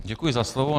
Děkuji za slovo.